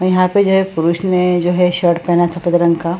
यहां पे जो है पुरुष ने जो है शर्ट पहना था सफेद रंग का।